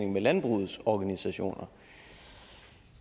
med landbrugets organisationer